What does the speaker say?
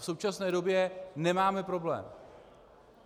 V současné době nemáme problém.